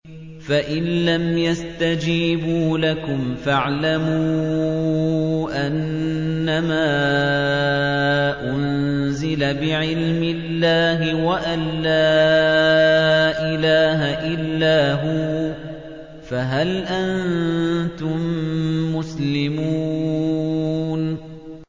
فَإِلَّمْ يَسْتَجِيبُوا لَكُمْ فَاعْلَمُوا أَنَّمَا أُنزِلَ بِعِلْمِ اللَّهِ وَأَن لَّا إِلَٰهَ إِلَّا هُوَ ۖ فَهَلْ أَنتُم مُّسْلِمُونَ